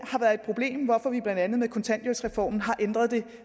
har været et problem hvorfor vi blandt andet med kontanthjælpsreformen har ændret det